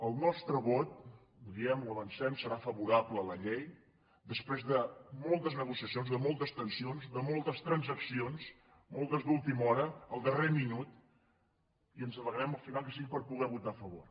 el nostre vot ho diem ho avancem serà favorable a la llei des·prés de moltes negociacions de moltes tensions de moltes transaccions moltes d’última hora al darrer minut i ens alegrem al final que sigui per poder vo·tar a favor